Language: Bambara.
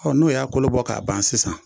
Ɔ n'o y'a kolo bɔ k'a ban sisan